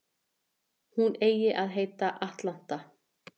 Hún eigi að heita Atlanta